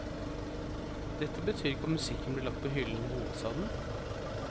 Dette betyr ikke at musikken blir lagt på hyllen i hovedstaden.